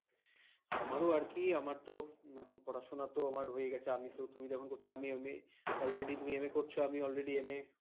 আমারো আর কি তো এখন পড়াশোনা তো হয়ে গেছে আমি তো তুমি করেছ MA আমি already MA